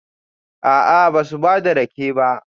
A'a, ba su ba da rake ba